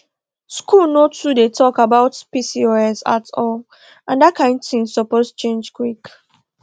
school no too dey talk about pcos at all and that kain thing suppose change quick